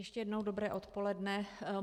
Ještě jednou dobré odpoledne.